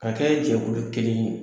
K'a kɛ jɛkulu kelen ye.